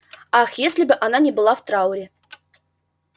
ах если бы она не была в трауре